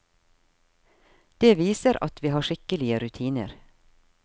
Det viser at vi har skikkelige rutiner.